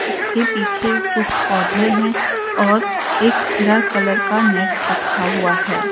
इसके पीछे कुछ पौधे हैं और एक हरा कलर का नेट रखा हुआ है।